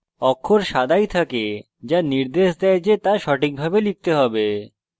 অক্ষর সাদাই থাকে the নির্দেশ দেয় the the সঠিকভাবে লিখতে হবে